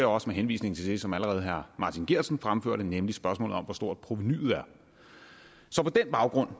også med henvisning til det som allerede herre martin geertsen fremførte nemlig spørgsmålet om hvor stort provenuet er så på den baggrund